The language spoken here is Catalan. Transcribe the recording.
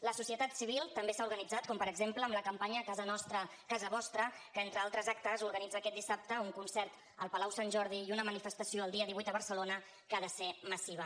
la societat civil també s’ha organitzat com per exemple amb la campanya casa nostra casa vostra que entre altres actes organitza aquest dissabte un concert al palau sant jordi i una manifestació el dia divuit a barcelona que ha de ser massiva